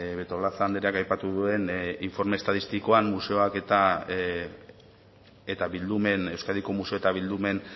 betolaza andereak aipatu duen informe estatistikoan museoak eta bildumek euskadiko museo eta bildumen